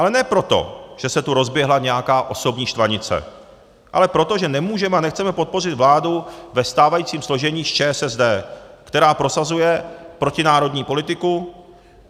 Ale ne proto, že se tu rozběhla nějaká osobní štvanice, ale proto, že nemůžeme a nechceme podpořit vládu ve stávajícím složení s ČSSD, která prosazuje protinárodní politiku.